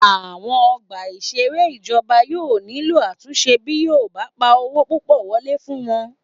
Àwọn ọgbà ìṣeré ìjọba yóò nílò àtúnṣe bí yóò bá pa owó púpọ̀ wọlé fún wọn